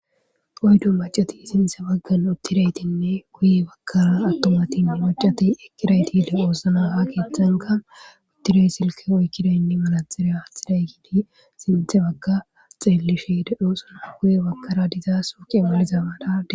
Oydu macati sintse baggan uttidaytinne guye bakkara attomatin macati ekiraytide oosna ha keeththanka uttiray silka oykkida inne manatxire hathidaykidi sinthe bagka xeelisheddoosana guye bakkara dizaa suqeemmalizama darde